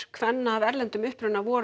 kvenna af erlendum uppruna voru